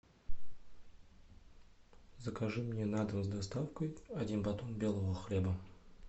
закажи мне на дом с доставкой один батон белого хлеба